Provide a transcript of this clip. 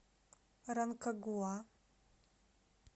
ранкагуа